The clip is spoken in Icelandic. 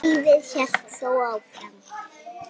Lífið hélt þó áfram.